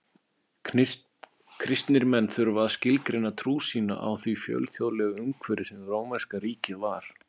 Kristnir menn þurftu að skilgreina trú sína í því fjölþjóðlega umhverfi sem rómverska ríkið var.